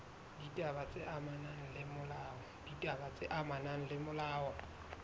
ditaba tse amanang le molao